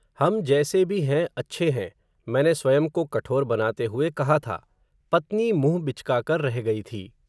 हम जैसे भी हैं अच्छे हैं, मैने स्वयं को कठोर बनाते हुए कहा था, पत्नी मुँह बिचका कर, रह गई थी